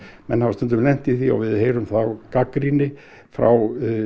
menn hafa stundum lent í því og við heyrum þá gagnrýni frá